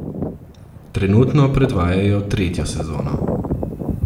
Trenutno predvajajo tretjo sezono.